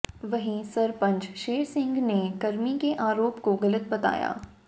वहीं सरपंच शेर सिंह ने कर्मी के आरोप काे गलत बताया